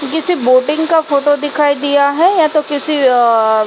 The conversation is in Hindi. ये किसी बोटिंग का फोटो दिखाई दिया या तो किसी अ--